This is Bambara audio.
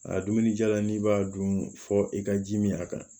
A dumunijalan n'i b'a dun fɔ i ka ji min a kan